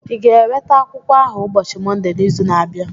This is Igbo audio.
ị ga-eweta akwụkwọ ahụ ụbọchị Mọnde n'izu na-abịa?